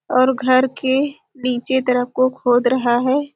और घर के नीचे तरफ को खोद रहा हैं।